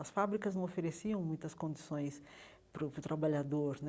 As fábricas não ofereciam muitas condições para o para o trabalhador né.